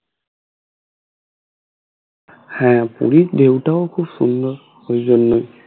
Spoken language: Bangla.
হ্যাঁ পুরীর ঢেউ টাও খুব সুন্দর ওই জন্যই